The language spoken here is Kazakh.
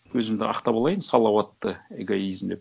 өзімді ақтап алайын салауатты эгоизм деп